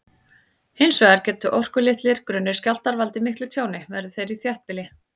Hins vegar geta orkulitlir, grunnir skjálftar valdið miklu tjóni, verði þeir í þéttbýli.